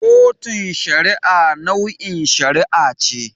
Kotun Shari'a nau'in shari'a ce.